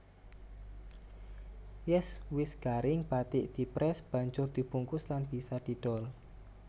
Yèn wis garing bathik diprès banjur dibungkus lan bisa didol